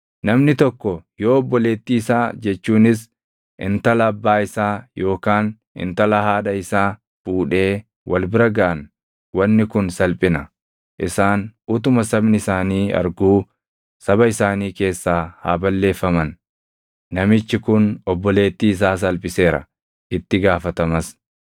“ ‘Namni tokko yoo obboleettii isaa jechuunis intala abbaa isaa yookaan intala haadha isaa fuudhee wal bira gaʼan wanni kun salphina. Isaan utuma sabni isaanii arguu saba isaanii keessaa haa balleeffaman; namichi kun obboleettii isaa salphiseera; itti gaafatamas.